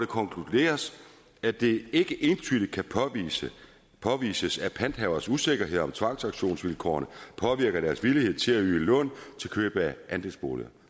konkluderes at det ikke entydigt kan påvises at panthaveres usikkerhed om tvangsauktionsvilkårene påvirker deres villighed til at yde lån til køb af andelsboliger